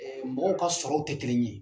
Mɔgɔw ka sɔrɔw tɛ kelen ye